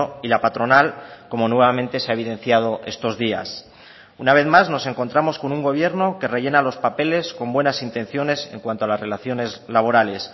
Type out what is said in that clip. y la patronal como nuevamente se ha evidenciado estos días una vez más nos encontramos con un gobierno que rellena los papeles con buenas intenciones en cuanto a las relaciones laborales